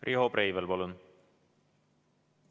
Riho Breivel, palun!